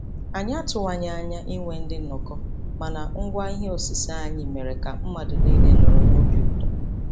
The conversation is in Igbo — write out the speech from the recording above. Anyị atụwaghị anya inwe ndị nnọkọ, mana ngwa ihe osise anyị mere ka mmadụ niile nọrọ n'obi ụtọ.